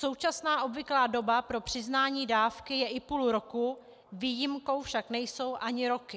Současná obvyklá doba pro přiznání dávky je i půl roku, výjimkou však nejsou ani roky.